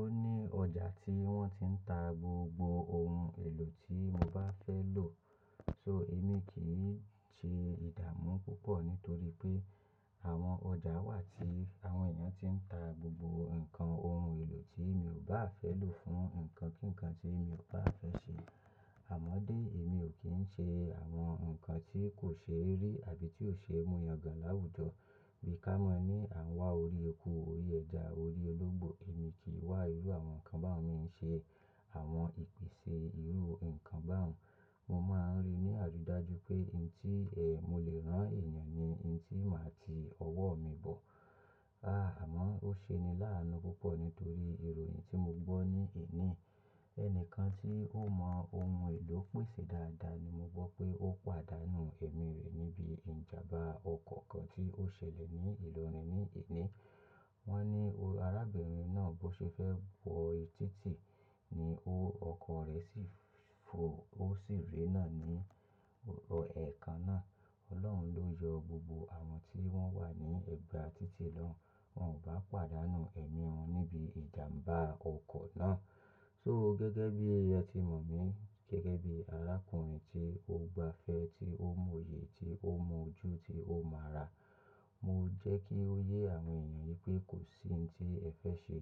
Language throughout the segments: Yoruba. Ó ní ọjà tí wọ́n ti ń ta gbogbo ohun èlò tí mo bá fẹ́ lò. So èmi kì í ṣe ìdàmú púpọ̀ nítorí pé àwọn ọjà á wà tí àwọn èèyàn tí ń ta gbogbo nǹkan ohun èlò tí mi ò bá à fẹ́ lò fún nǹkan kíǹkan tí mi ò bá à fẹ́ ṣe. Àmọ́ dé, èmi ò kí ń ṣe àwọn nǹkan tí kò ṣeé rí àbí tí ò ṣeé mú yan gàn láwùjọ. Bí ká mọ ní à ń wá orí eku, orí ẹja, orí ológbò, èmi kì í wá irú àwọn nǹkan báwun mi í ń ṣe àwọn ìpìnsè irú nǹkan báwun. Mo máa ń ri ní àrídájú pé ohun tí, eh, mo lè rán èèyàn ni ohun tí màá ti ọwọ́ mi bọ̀. Àmọ́ ó ṣe ni lá àánú púpọ̀ nítorí ìròyìn tí mo gbọ́ ní èní yìí. Ẹnìkan tí ó mọ ohun èlò pèsè dáadáa ni mo gbọ́ pé ó pàdánù ẹ̀mi rẹ̀ níbi ìjàmbá ọkọ̀ kan tí ó ṣẹlẹ̀ ní ìlọrin ní èní. Wọ́n ní arábìnrin náà bó ṣe fẹ́ wọ e tí tì ni ó ọkọ̀ọ rẹ̀ sì fò ó sì ré nà ní ẹ̀ kan náà. Ọlọ́run ló yọ gbogbo àwọn tí wọ́n wà ní ẹ̀gbà títì náà, wọn ò bá pàdánù ẹ̀mí wọn níbi ìjàmbá ọkọ̀ náà. So gẹ́gẹ́ bí ẹ ti mọ̀ mí, gẹ́gẹ́ bí arákùnrin tí ó gbá fẹ́, tí ó mòye, tí ó mọ ojú, tí ó mọ ara. Mo jẹ́ kí ó yé àwọn èèyàn pé kò sí ohun tí ẹ fẹ́ ṣe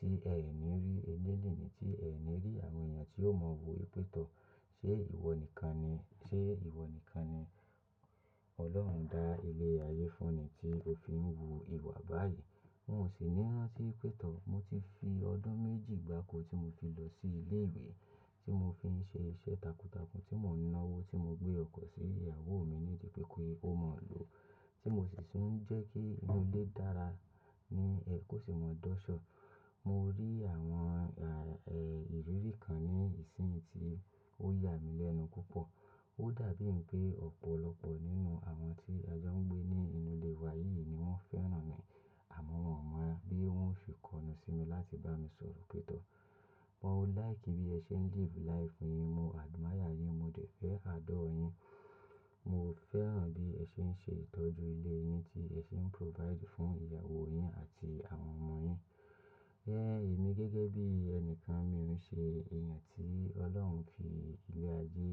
tí ẹ ò ní rí elénìní, tí ẹ ò ní rí àwọn èèyàn tí ó mọ wò wípé tọ̀. Ṣé ìwọ nìkan ni, ṣé ìwọ nìkan ni Ọlọ́run dá ilé ayé fún ni tí ó fi ń hu ìwà báyìí? Wọn ò sì ní rán tí wípé tọ̀. Mo ti fi ọdún méjì gbáko tí mo fi lọ sí ilé ìwé tí mo fi ń ṣe iṣẹ́ takuntakun tí mo ń ná owó tí mo gbé ọkọ̀ sí ìyàwó mi ní ìdí pé kí ó mọ lòó, tí mo sì tún ń jẹ́ kí inú ilé dára ní ẹ kó tí mo dọ́ṣọ̀. Mo rí àwọn, à, eh, ìrírí kan ní ìsìn yí tí ó yà mí lẹ́nu púpọ̀. Ó dàbí ń pé ọ̀pọ̀lọpọ̀ nínú àwọn tí ajọ ń gbé ní inú ilé wa yìí ni wọ́n fẹ́ràn mi. Àmọ́ wọǹ mọ bí wọ́n ó ṣe kọnu sí mi láti bá mi sọ̀rọ̀ pé tọ̀. "Mo like bí ẹ ṣe ń live life yín, mo admire yín, mo dẹ̀ fẹ́ adore yín. Mo fẹ́ràn bí ẹ ṣe ń ṣe ìtọ́jú ilé yín tí ẹ ṣe ń provide fún ìyàwó yín àti àwọn ọmọ yín." Èmi gẹ́gẹ́ bí ẹnì kan mi ò ń ṣe èèyàn tí Ọlọ́run fi ilé ayé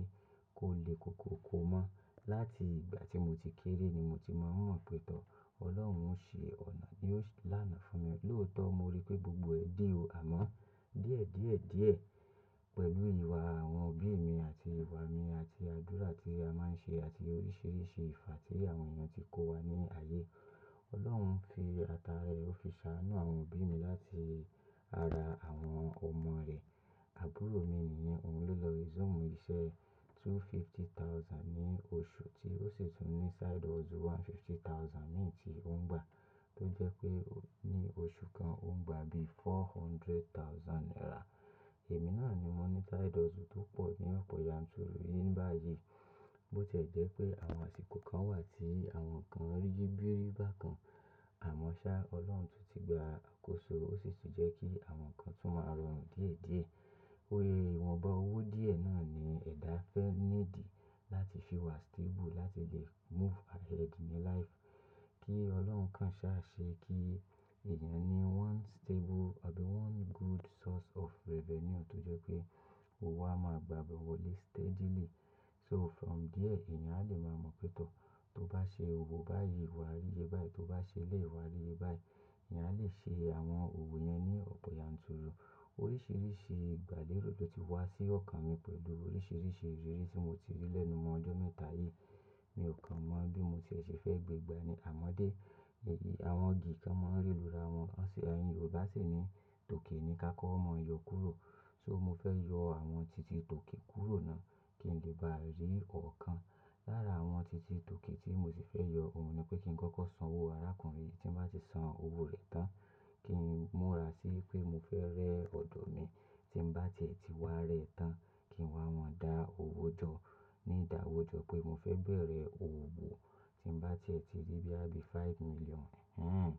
kó le koko ko mọ́. Láti ìgbà tí mo ti kéré ni mo ti mọ ń mọ̀ pí tọ̀. Ọlọ́run ń ṣí ọ̀nà ni ó-- lánàá fún mi. Lóòótọ́ mo ri pé gbogbo ẹ̀ dí o. Àmọ́ díẹ̀ díẹ̀ díẹ̀ pẹ̀lú ìwà àwọn òbí mi àti ìwà mi àti àdúrà tí a máa ń ṣe àti oríṣiríṣi ìfà tí àwọn èèyàn ti kó wa ní ayé. Ọlọ́run fi ata rẹ̀, ó fi ṣàánú àwọn òbí mi láti ara àwọn ọmọ rẹ̀. Àbúrò mi nìyẹn, òun ló lọ resume iṣẹ́ two fifty thousand ní oṣù tí ó sì tún ní side hustle one fifty thousand míì tí ó ń gbà. Tó jẹ́ pé ní oṣù kan ó ń gbà bí four hundred thousand naira. Èmi náà ni mo ní side hustle tó pọ̀ ní ọ̀pọ̀ yanturu yìí ní báyìí. Bó ti ẹ́ jẹ́ pé àwọn àsìkò kan wà tí àwọn nǹkan ríyí bírí bá kan, àmọ́ ṣá, Ọlọ́run tún ti gba àkóso, ó sì tún jẹ́ kí àwọn nǹkan tún máa rọrùn díẹ̀ díẹ̀. O, ìwọ̀nba owó díẹ̀ náà ni ẹ̀dá fẹ́ need láti fi wà stable láti lè move ahead ní life. Kí Ọlọ́run kàn ṣáà ṣé kí èèyàn ní one stable àbí one good source of revenue tó jẹ́ pé owó a máa gbabẹ̀ wọlé steadily. So from there èèyàn á lè máa mọ̀ pêé tọ̀. To bá ṣe òwò báyìí, wàá rí iye báyìí. Tó bá ṣe eléyìí, wà á rí ye báyìí. Èèyàn á lè ṣe àwọn òwò yẹn ní ọ̀pọ̀ yanturu. Oríṣiríṣi ìgbàlérò ló ti wá sí ọ̀kan mi pẹ̀lú oríṣiríṣi ìrírí tí mo ti rí lẹ́nu mọ ọdún mẹ́ta yìí. Mi ò kàn mọ bí mo ti ẹ̀ ṣe fẹ́ gbe gbà ni. Àmọ́ dé, àwọn igi kan máa ń ré lura wọn. Óṣè yẹn ni Yorùbá sì ní tòkè ni ka kọ́ ọ́ mọ yọ kúrò. So mo fẹ́ yọ àwọn tìtì tòkè kúrò náà kí n lè bá rí ọ̀kan. Lára àwọn ti ti tòkè tí mo sì fẹ́ yọ òun ni pé kí n kọ́kọ́ san owó arákùnrin yìí tí n bá ti san owó rẹ̀ tán kí n múra sí pé mo fẹ́ rẹ́ ọ̀dọ̀ mi. Tí n bá tiẹ̀ ti wá rẹ tán kí n wá mọ dá owó jọ ní ìdá owó jọ pé mo fẹ́ bẹ̀rẹ̀ òwò tí n bá tiẹ̀ ti rí bó yá bí i five million. Hẹhẹn,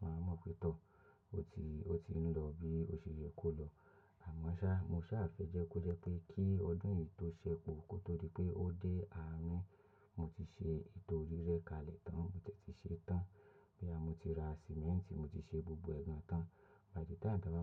màá mọ̀ pé tọ̀. Ó ti, ó ti ń lọ bí ó ṣe yẹ kó lọ. Àmọ́ ṣá, mo ṣáà fẹ́ jẹ́ kó jẹ́ pé kí ọdún yìí tó ṣẹ́ po kótódi pé ó dé, àárínn mo ti ṣe ètò rí rẹ́ kalẹ̀ tán. Mo tẹ̀ ti ṣe tán. Kíyá mo ti ra sìmẹ́ǹtì, mo ti ṣe gbogbo ẹ̀ gan tán. Àfi tá à bá wá ń.